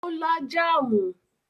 Ó lá jáámù?